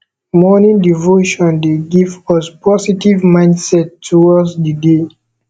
morning devotion dey give us positive mindset towards di day